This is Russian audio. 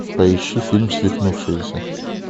поищи фильм свихнувшиеся